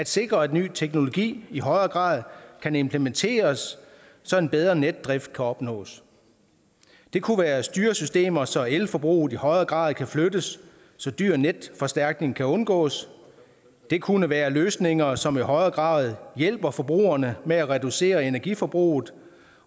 sikre at ny teknologi i højere grad kan implementeres så en bedre netdrift kan opnås det kunne være styresystemer så elforbruget i højere grad kan flyttes så dyr netforstærkning kan undgås det kunne være løsninger som i højere grad hjælper forbrugerne med at reducere energiforbruget